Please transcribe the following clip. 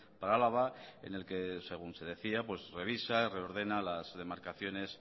para álava en el que según se decía revisa reordena las demarcaciones